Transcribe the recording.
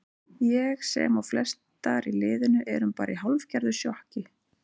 Ég sem og flestar í liðinu erum bara í hálfgerðu sjokki.